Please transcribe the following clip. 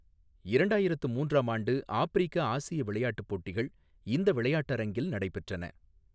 இரண்டாயிரத்து மூன்றாம் ஆண்டு ஆப்பிரிக்க ஆசிய விளையாட்டுப் போட்டிகள் இந்த விளையாட்டரங்கில் நடைபெற்றன.